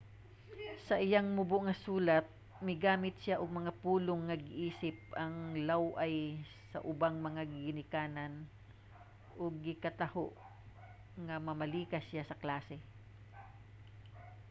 sa iyang mubo nga sulat migamit siya og mga pulong nga giisip nga law-ay sa ubang mga ginikanan ug gikataho nga namalikas siya sa klase